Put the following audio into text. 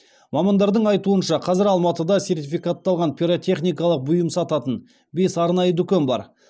мамандардың айтуынша қазір алматыда сертификатталған пиротехникалық бұйым сататын бес арнайы дүкен бар